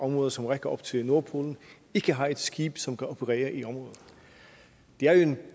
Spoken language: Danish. område som rækker op til nordpolen ikke har et skib som kan operere i området det er jo en